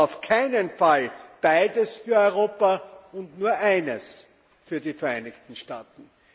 Aber auf keinen Fall beides für Europa und nur eines für die Vereinigten Staaten.